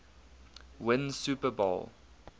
win super bowl